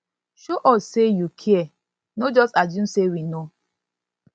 show us say you say you care no just assume say we know